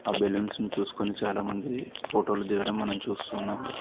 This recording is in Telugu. ఆ బెలూన్స్ ని చూసుకొని చాలామంది ఫోటోలు దిగడం మనం చూస్తున్నాం.